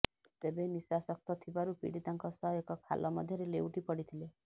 ତେବେ ନିଶାସକ୍ତ ଥିବାରୁ ପୀଡ଼ିତାଙ୍କ ସହ ଏକ ଖାଲ ମଧ୍ୟରେ ଲେଉଟି ପଡ଼ିଥିଲେ